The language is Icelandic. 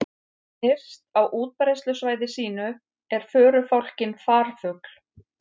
Nyrst á útbreiðslusvæði sínu er förufálkinn farfugl.